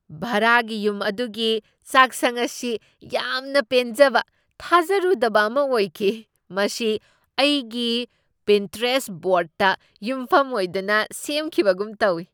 ꯚꯔꯥꯒꯤ ꯌꯨꯝ ꯑꯗꯨꯒꯤ ꯆꯥꯛꯁꯪ ꯑꯁꯤ ꯌꯥꯝꯅ ꯄꯦꯟꯖꯕ ꯊꯥꯖꯔꯨꯗꯕ ꯑꯃ ꯑꯣꯏꯈꯤ, ꯃꯁꯤ ꯑꯩꯒꯤ ꯄꯤꯟꯇꯦꯔꯦꯁꯠ ꯕꯣꯔꯗꯇ ꯌꯨꯝꯐꯝ ꯑꯣꯏꯗꯨꯅ ꯁꯦꯝꯈꯤꯕꯒꯨꯝ ꯇꯧꯢ!